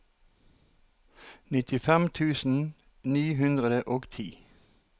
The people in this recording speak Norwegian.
nittifem tusen ni hundre og ti